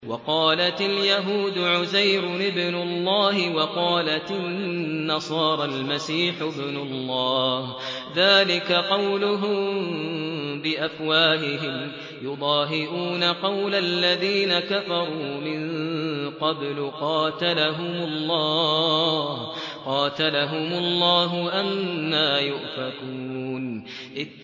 وَقَالَتِ الْيَهُودُ عُزَيْرٌ ابْنُ اللَّهِ وَقَالَتِ النَّصَارَى الْمَسِيحُ ابْنُ اللَّهِ ۖ ذَٰلِكَ قَوْلُهُم بِأَفْوَاهِهِمْ ۖ يُضَاهِئُونَ قَوْلَ الَّذِينَ كَفَرُوا مِن قَبْلُ ۚ قَاتَلَهُمُ اللَّهُ ۚ أَنَّىٰ يُؤْفَكُونَ